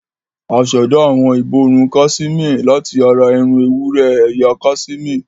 A ṣẹ̀dá awọn ìborùn kaṣimé láti ara irun ewúrẹ́ ẹ̀yà kaṣimé.